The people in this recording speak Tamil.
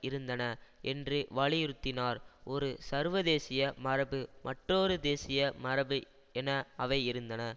இருந்தன என்று வலியுறுத்தினார் ஒரு சர்வதேசிய மரபு மற்றொரு தேசிய மரபு என அவை இருந்தன